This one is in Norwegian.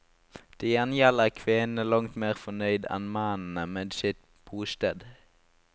Til gjengjeld er kvinnene langt mer fornøyd enn mennene med sitt bosted.